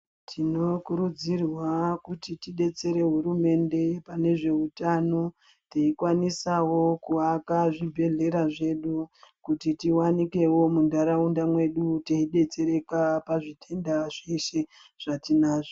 Tinokurudzirwa kuti tidetsere hurumende pane zvehutano teikwanisawo kuaka zvibhedhlera zvedu kuti tiwanikwewo mundaraunda mwedu teidetsereka pazvitenda zveshe zvatinazvo.